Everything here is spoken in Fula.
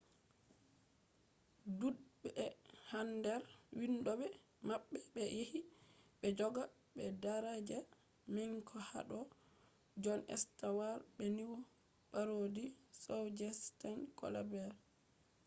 dudbe hander vindobe mabbe be yahi be joga daraja manga hado jon stewart be news parody show je stephen colbert